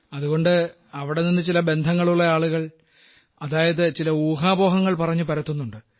അതുകൊണ്ട് അവിടെ നിന്ന് ചില ബന്ധങ്ങളുള്ള ആളുകൾ അതായത് ചില ഊഹാപോഹങ്ങൾ പറഞ്ഞു പരത്തുന്നുണ്ട്